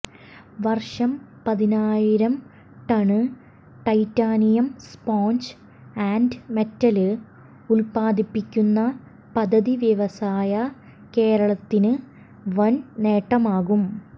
വര്ഷം പതിനായിരം ton titanium sponge and metal ഉത്പാദിപ്പിക്കുന്ന പദ്ധതി വ്യവസായ കേരളത്തിന് വന് നേട്ടമാകും